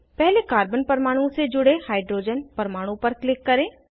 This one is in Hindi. पहले कार्बन परमाणु से जुड़े हाइड्रोजन परमाणु पर क्लिक करें